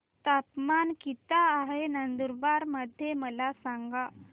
तापमान किता आहे नंदुरबार मध्ये मला सांगा